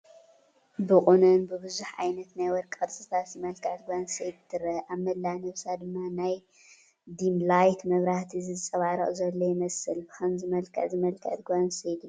ብቑኖን ብብዙሕ ዓይነት ናይ ወርቂ ቅርፅታት ዝመልከዐት ጓል ኣነስተይቲ ትረአ፡፡ ኣብ መላእ ነብሳ ድማ ናይ ዲምላይት መብራህቲ ዝንፀባረቕ ዘሎ ይመስል፡፡ ብኸምዚ መልክዕ ዝመልከዐት ጓል ኣነስተይቲ ዶ ትሪኡ?